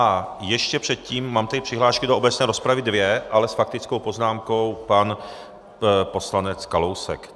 A ještě předtím mám tady přihlášky do obecné rozpravy, dvě, ale s faktickou poznámkou pan poslanec Kalousek.